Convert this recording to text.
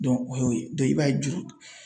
o y'o ye i b'a ye juru